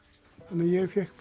ég fékk